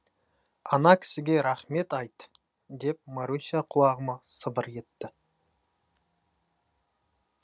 ана кісіге рахмет айт деп маруся құлағыма сыбыр етті